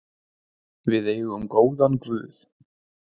Við eigum góðan guð.